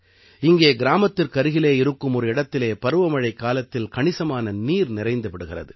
இங்கே கிராமத்திற்கருகிலே இருக்கும் ஒரு இடத்திலே பருவமழைக்காலத்தில் கணிசமான நீர் நிறைந்து விடுகிறது